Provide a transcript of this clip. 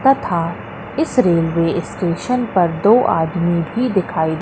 तथा इस railway station पर दो आदमी भी दिखाई--